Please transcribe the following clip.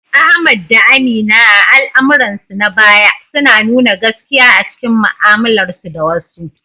Ahmad da Amina, a al’amuransu na baya, suna nuna gaskiya a cikin mu’amalarsu da wasu.